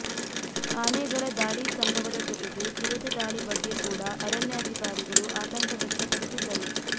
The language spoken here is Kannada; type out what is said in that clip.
ಆನೆಗಳ ದಾಳಿ ಸಂಭವದ ಜೊತೆಗೆ ಚಿರತೆ ದಾಳಿ ಬಗ್ಗೆ ಕೂಡಾ ಅರಣ್ಯಾಧಿಕಾರಿಗಳು ಆತಂಕ ವ್ಯಕ್ತಪಡಿಸಿದ್ದರು